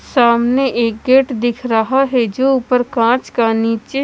सामने एक गेट दिख रहा है जो ऊपर कांच का और नीचे--